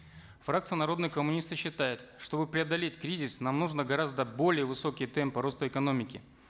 фракция народные коммунисты считает чтобы преодолеть кризис нам нужно гораздо более высокий темп роста экономики